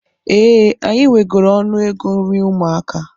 Ee, anyị wegoro ọnụego nri ụmụaka.